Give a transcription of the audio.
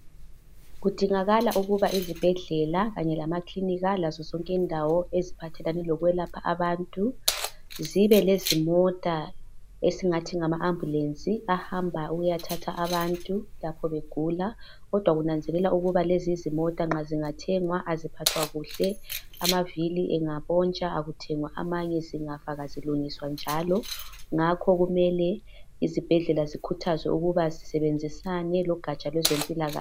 Kudingakala ukuba ezibhedlela kanye lamakilinika lazo zonke izindawo eziphathelane abantu zibe lezimota esingathi ngama ambulance ahamba ukuyathatha abantu lapho begula kodwa kunanzelelwa ukuba lezi izimota nxa zingathengwa aziphathwa kuhle amavili engaponstha akuthengwa amanye njalo zingafa azilungiswa njalo ngakho kumele izibhedlela zikhuthazwe zisebenzisane logaja lwezempilakahle